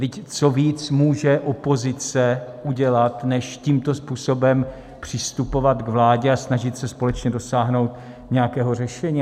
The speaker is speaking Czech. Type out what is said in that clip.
Vždyť co víc může opozice udělat, než tímto způsobem přistupovat k vládě a snažit se společně dosáhnout nějakého řešení?